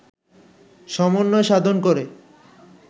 সমন্বয় সাধন করে